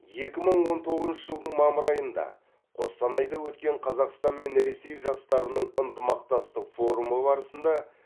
екі мың он тоғызыншы жылдың мамыр айында қостанайда өткен қазақстан мен ресей жастарының ынтымақтастық форумы барысында